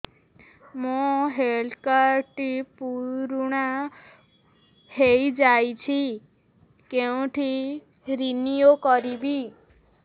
ମୋ health card ଟି ପୁରୁଣା ହେଇଯାଇଛି କେଉଁଠି ରିନିଉ କରିବି